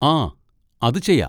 ആ, അത് ചെയ്യാ.